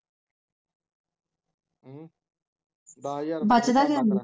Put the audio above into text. ਬਚਦਾ ਕੀ ਨੀ